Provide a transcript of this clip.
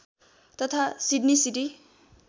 तथा Sydney city